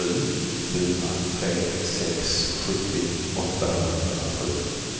sju fyra tre sex sjuttio åttahundrasju